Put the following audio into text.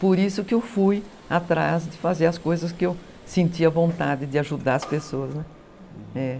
Por isso que eu fui atrás de fazer as coisas que eu sentia vontade de ajudar as pessoas, né.